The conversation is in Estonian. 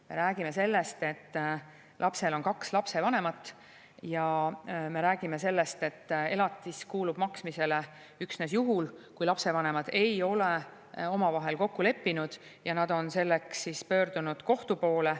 Me räägime sellest, et lapsel on kaks vanemat, ja me räägime sellest, et elatis kuulub maksmisele üksnes juhul, kui lapsevanemad ei ole omavahel kokku leppinud ja nad on selleks pöördunud kohtu poole.